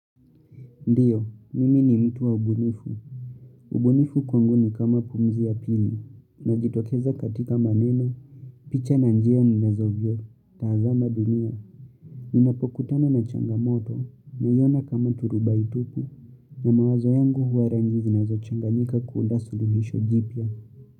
Ndiyo, mimi ni mtu wa ubunifu. Ubunifu kwangu ni kama pumzi ya pili, inajitokeza katika maneno, picha na njia ninazovyotazama dunia. Ninapokutana na changamoto, ninaiona kama turubaitupu, na mawazo yangu huarangizi na zochanganyika kuunda suluhisho jipya.